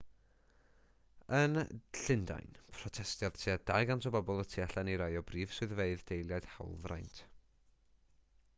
yn llundain protestiodd tua 200 o bobl y tu allan i rai o brif swyddfeydd deiliaid hawlfraint